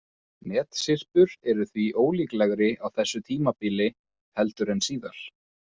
Metsyrpur eru því ólíklegri á þessu tímabili heldur en síðar.